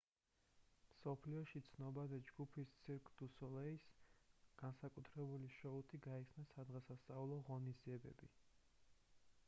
მსოფლიოში ცნობადი ჯგუფის cirque du soleil-ის განსაკუთრებული შოუთი გაიხსნა სადღესასწაულო ღონისძიებები